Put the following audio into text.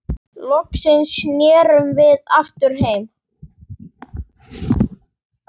Loksins snerum við aftur heim.